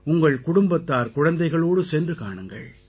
உங்கள் குடும்பத்தார்குழந்தைகளோடு சென்று காணுங்கள்